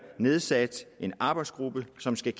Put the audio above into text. nedsat en arbejdsgruppe som skal